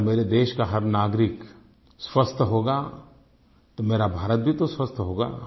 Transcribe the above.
अगर मेरे देश का हर नागरिक स्वस्थ होगा तो मेरा भारत भी तो स्वस्थ होगा